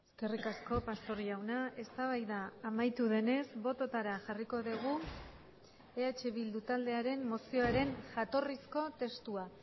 eskerrik asko pastor jauna eztabaida amaitu denez bototara jarriko dugu eh bildu taldearen mozioaren jatorrizko testua